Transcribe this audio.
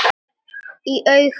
Í augum